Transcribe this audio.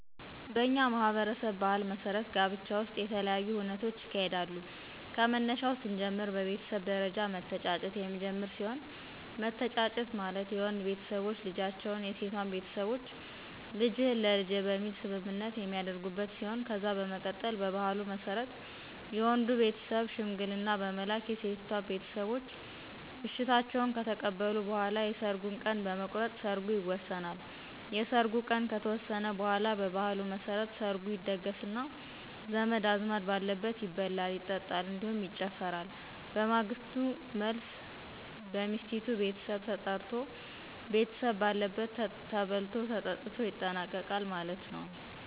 በእኛ ማህበረሰብ ባህል መሠረት ጋብቻ ውሰጥ የተለያዪ ሁነቶች ይካሄዳሉ ከመነሻው ሰንጀምር በቤተሰብ ደረጃ መተጫጨት የሚጀመር ሲሆን መተጫጨት ማለት የወንድ ቤተሰቦች ልጃቸው የሴቷን ቤተሰቦች ልጅህን ለልጄ በሚል ሰምምነት የሚተደርጉበት ሲሆን ከዛ በመቀጠል በባህሉ መሰረት የወንዱ ቤተሰብ ሸምንግልና በመላክ የሴቲቷን ቤተሰቦች እሸታቸውን ከተቀበሉ በኋላ የሰርጉን ቀን በመቁረጥ ሰርጉን ይወሰናል። የሰርጉ ቀን ከተወሰነ በኋላ በባህሉ መሰረት ሰርጉ ይደገሰና ዘመድ አዝማድ በአለበት ይበላል ይጠጣል እንዲሁም ይጨፈራል በማግሰቱ መልሰ በሚሰቲቷ ቤተሰብ ተጠራርቶ ቤተሰብ ባለበት ተበልቶ ተጠትቶ ይጠናቀቃል ማለት ነው።